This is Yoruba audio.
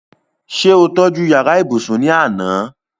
ṣé ó tọ́ju yàrá ibùsùn ní àná?